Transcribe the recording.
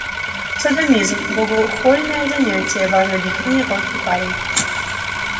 садомизм богохульное занятие важно объяснил мне толстый парень